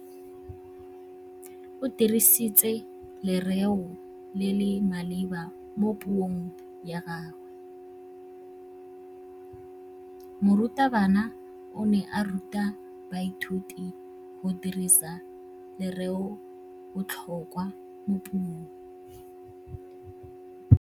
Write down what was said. O dirisitse lerêo le le maleba mo puông ya gagwe. Morutabana o ne a ruta baithuti go dirisa lêrêôbotlhôkwa mo puong.